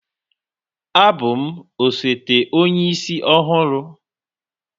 Abụ m osote Onye isi ọhụrụ